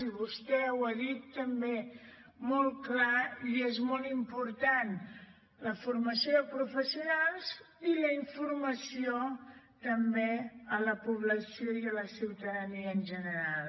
i vostè ho ha dit també molt clar i és molt important la formació de professionals i la informació també a la població i a la ciutadania en general